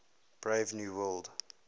brave new world